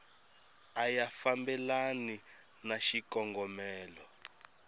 a ya fambelani na xikongomelo